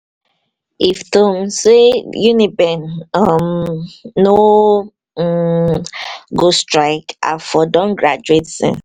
if to sey uniben um no um go strike, i for don graduate since